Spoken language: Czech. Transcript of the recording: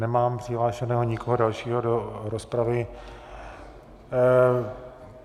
Nemám přihlášeného nikoho dalšího do rozpravy.